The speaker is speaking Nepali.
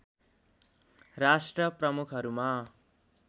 राष्ट्र प्रमुखहरूमा